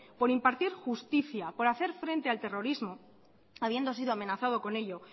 por impartir justicia por hacer frente al terrorismo habiendo sido amenazado con ello